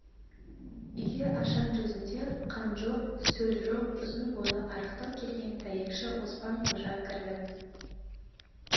үйге ашаң жүзінде қан жоқ сөл жоқ ұзын бойлы арықтау келген дәйекші оспан-қожа кірді